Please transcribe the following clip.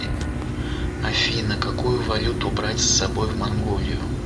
афина какую валюту брать с собой в монголию